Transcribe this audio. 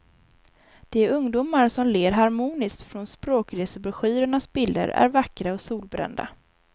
De ungdomar som ler harmoniskt från språkresebroschyrernas bilder är vackra och solbrända.